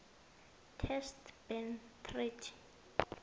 test ban treaty